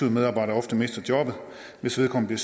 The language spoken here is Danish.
en medarbejder ofte mister jobbet hvis vedkommende